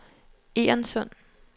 Egernsund